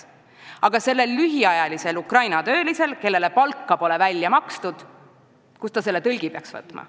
Kust aga peaks see lühiajaline Ukraina tööline, kellele pole palkagi välja makstud, võtma tõlgi?